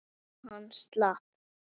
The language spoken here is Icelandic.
Já, hann slapp.